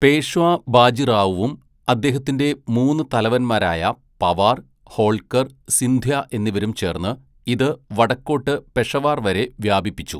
പേഷ്വാ ബാജിറാവുവും അദ്ദേഹത്തിൻ്റെ മൂന്ന് തലവൻമാരായ പവാർ, ഹോൾക്കർ, സിന്ധ്യ എന്നിവരും ചേർന്ന് ഇത് വടക്കോട്ട് പെഷവാർ വരെ വ്യാപിപ്പിച്ചു.